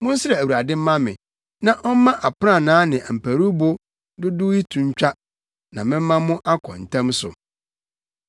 Monsrɛ Awurade mma me, na ɔmma aprannaa ne mparuwbo dodow yi to ntwa na mɛma mo akɔ ntɛm so.”